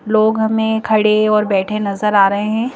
लोग हमें खड़े और बैठे नजर आ रहे हैं।